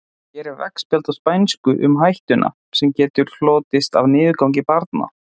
Hér er veggspjald á spænsku um hættuna sem getur hlotist af niðurgangi barna.